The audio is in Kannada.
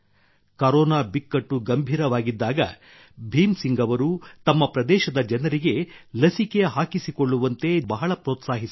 ಕರೋನಾ ಬಿಕ್ಕಟ್ಟು ಗಂಭೀರವಾಗಿದ್ದಾಗ ಭೀಮ್ ಸಿಂಗ್ ಅವರು ತಮ್ಮ ಪ್ರದೇಶದ ಜನರಿಗೆ ಲಸಿಕೆ ಹಾಕಿಸಿಕೊಳ್ಳುವಂತೆ ಜನರನ್ನು ಬಹಳ ಪ್ರೋತ್ಸಾಹಿಸಿದ್ದರು